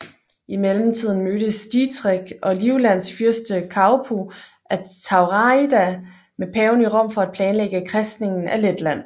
I mellemtiden mødes Dietrich og Livlands fyrste Kaupo af Turaida med paven i Rom for at planlægge kristningen af Letland